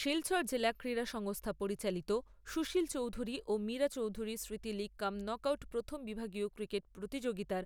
শিলচর জেলা ক্রীড়া সংস্থা পরিচালিত সুশীল চৌধুরী ও মীরা চৌধুরী স্মৃতি লীগ কাম নক আউট প্রথম বিভাগীয় ক্রিকেট প্রতিযোগিতার